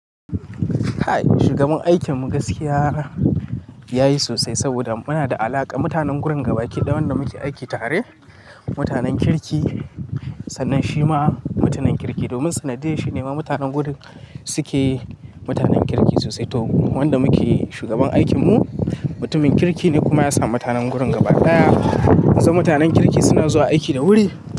Hai, shugaban aikin mu gaskiya yayi sosai saboda muna da alaƙa. Mutanen gurin gaba ɗaya wanda muke aiki tare mutanen kirki, sannan shi ma mutumin kirki domin sanadiyar shi ne ma mutanen guri suke mutanen kirki sosai to wanda muke shugaban aikin mu mutumin kirki ne kuma ya samu mutanen gurin gaba ɗaya. Za mutanen kirki suna zuwa aiki da wuri.